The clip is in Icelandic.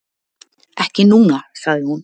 Ekki núna, sagði hún.